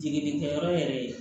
Jiginikɛyɔrɔ yɛrɛ